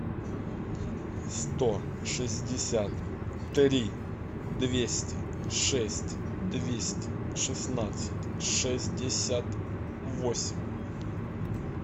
сто шестьдесят три двести шесть двести шестнадцать шестьдесят восемь